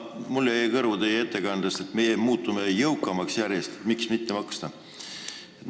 Mulle jäi teie ettekandest kõrvu, et me muutume järjest jõukamaks ja miks mitte rohkem maksta.